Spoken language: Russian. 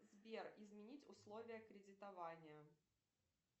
сбер изменить условия кредитования